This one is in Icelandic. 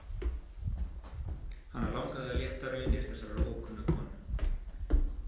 Hana langaði að létta raunir þessarar ókunnu konu.